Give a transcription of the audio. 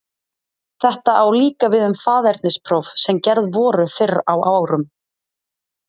Þetta á líka við um faðernispróf sem gerð voru fyrr á árum.